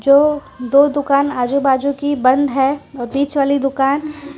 दो दो दुकान आजू बाजू की बंद है और बीच वाली दुकान--